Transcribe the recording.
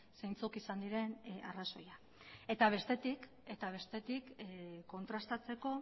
zeintzuk izan diren arrazoiak eta bestetik kontrastatzeko